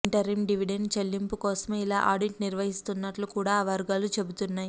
interim dividend చెల్లింపు కోసమే ఇలా ఆడిట్ నిర్వహిస్తున్నట్లు కూడా ఆ వర్గాలు చెబుతున్నాయి